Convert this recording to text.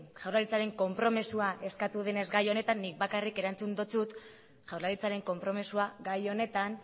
jaurlaritzaren konpromisoa eskatu denez gai honetan nik bakarrik erantzun dotsut jaurlaritzaren konpromisoa gai honetan